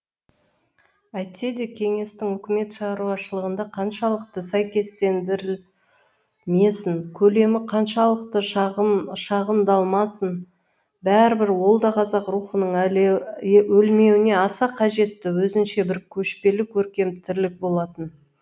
әйтсе де кеңестік үкімет шаруашылығына қаншалықты сәйкестендірілмесін көлемі қаншалықты шағындалмасын бәрібір ол да қазақ рухының өлмеуіне аса қажетті өзінше бір көшпелі көркем тірлік болатын